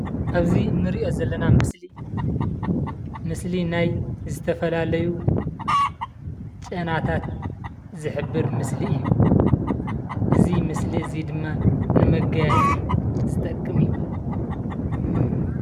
ኣብዚ እንሪኦ ዘለና ምስሊ ምስሊ ናይ ዝተፈላለዩ ጨናታት ዝሕብር ምስሊ እዩ። እዚ ምስሊ እዙይ ድማ ንመጋየፂ ዝጠቅ ምእዩ።